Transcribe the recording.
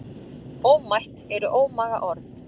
Ómætt eru ómaga orð.